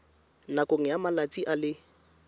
nakong ya malatsi a le